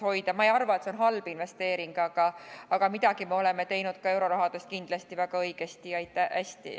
Ma ei arva aga, et see kõik on olnud halb investeering, midagi me oleme teinud euroraha eest kindlasti ka väga õigesti ja hästi.